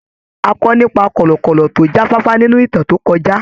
A kọ́ nípa kọ̀lọ̀kọ̀lọ̀ tó jáfáfá nínú ìtàn tó kọjá.